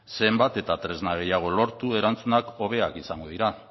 zenbat eta tresna gehiago lortu erantzunak hobeak izango dira